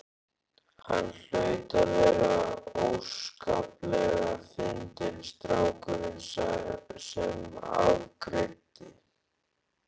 Hann hlaut að vera óskaplega fyndinn strákurinn sem afgreiddi.